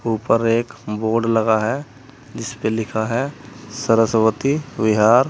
ऊपर एक बोर्ड लगा है जिसपे लिखा है सरस्वती विहार।